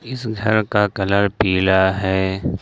इस घर का कलर पीला है।